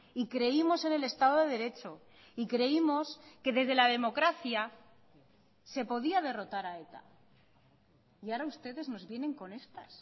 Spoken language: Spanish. y creímos en el estado de derecho y creímos que desde la democracia se podía derrotar a eta y ahora ustedes nos vienen con estas